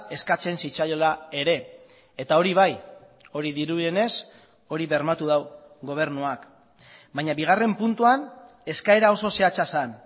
eskatzen zitzaiola ere eta hori bai hori dirudienez hori bermatu du gobernuak baina bigarren puntuan eskaera oso zehatza zen